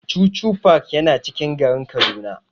Chuchu park yana cikin garin Kaduna.